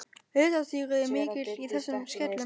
Litadýrð er mikil í þessum skellum.